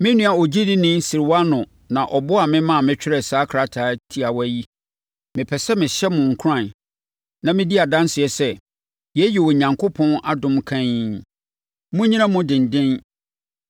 Me nua ogyidini Silwano na ɔboaa me maa metwerɛɛ saa krataa tiawa yi. Mepɛ sɛ mehyɛ mo nkuran na medi adanseɛ sɛ, yei yɛ Onyankopɔn adom kann. Monnyina mu dennen.